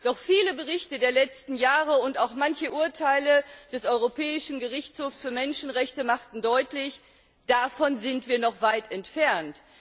Doch viele Berichte der letzten Jahre und auch manche Urteile des Europäischen Gerichtshofs für Menschenrechte machten deutlich Davon sind wir noch weit entfernt.